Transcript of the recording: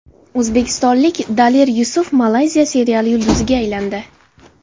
O‘zbekistonlik Daler Yusuf Malayziya seriali yulduziga aylandi.